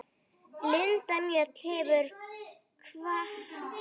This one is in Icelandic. Linda Mjöll hefur kvatt.